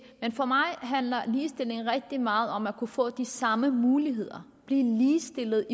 for mig handler ligestilling rigtig meget om at kunne få de samme muligheder blive ligestillet